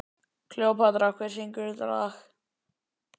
Kleópatra, hver syngur þetta lag?